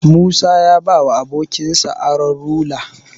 Musa ya ba abokinsa Aron rula